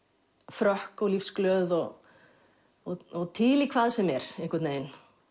frökk og lífsglöð og og til í hvað sem er